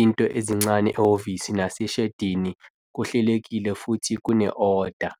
into ezincane ehhovisi naseshedini kuhlelekile futhi kune-oda.